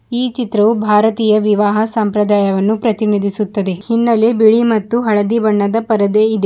ಈ ಚಿತ್ರವೂ ಭಾರತೀಯ ವಿವಾಹ ಸಂಪ್ರದಾಯವನ್ನು ಪ್ರತಿನಿಧಿಸುತ್ತದೆ ಹಿನ್ನಲೆ ಬಿಳಿ ಮತ್ತು ಹಳದಿ ಬಣ್ಣದ ಪರದೆ ಇದೆ.